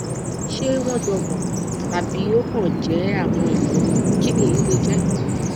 ṣé wọn jọmọ tàbí ó kàn jẹ àwọn ìṣòro kini eyi le je